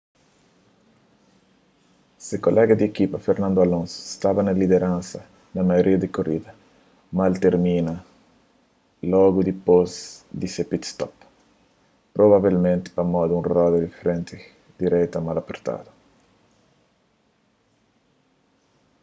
se kolega di ekipa fernando alonso staba na lideransa na maioria di korida mas el termina-l logu dipôs di se pit-stop provavelmenti pamodi un roda di frenti direita mal apertadu